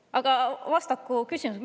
Aga vastaku küsimusele.